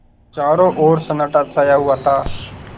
चारों ओर सन्नाटा छाया हुआ था